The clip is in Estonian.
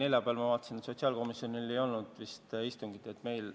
Neljapäeval, ma vaatasin, sotsiaalkomisjonil vist istungit plaanis ei ole.